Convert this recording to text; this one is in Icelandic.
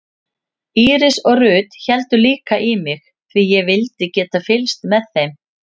Íris og Ruth héldu líka í mig því ég vildi geta fylgst með þeim.